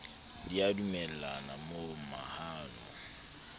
di a dumellana mo mahano